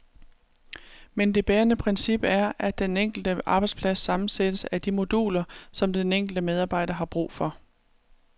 Men det bærende princip er, at den enkelte arbejdsplads sammensættes af de moduler, som den enkelte medarbejder har brug for.